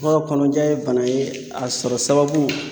Bawo kɔnɔja ye bana ye, a sɔrɔ sababu